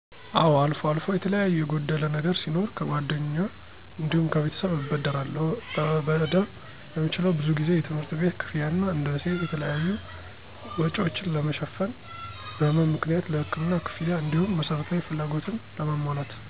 አወ አልፎ አልፎ የተለያዩ የጎደለ ነገር ሲኖር ከጓደኞ እንዲሁም ከቤተሰብ እበደራለሁ። ለበደር የምችለው ብዙ ጊዜ የትምህርት ቤት ክፍያ እና እንደ ሴት የተለያዩ፣ ወጭወችን ለመ ሸፍን፣ በህመም ምክንያት ለህክምና ክፍያ፣ እንዲሁም መሰረታዊ ፍላጎትን ለማሞላት፣